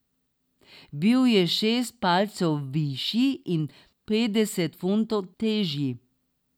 Bil je šest palcev višji in petdeset funtov težji.